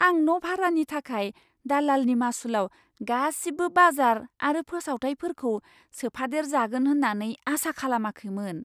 आं न' भारानि थाखाय दालालनि मासुलाव गासिबो बाजार आरो फोसावथाइफोरखौ सोफादेर जागोन होन्नानै आसा खालामाखैमोन।